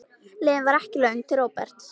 Leiðin var ekki löng til Róberts.